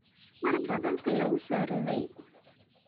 Mar ba dulka lakusoridhey.